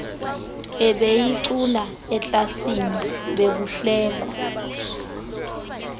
ebeyicula eklasini bekuhlekwa